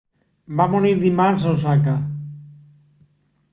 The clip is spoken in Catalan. va morir dimarts a osaka